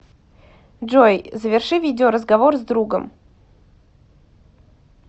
джой заверши видео разговор с другом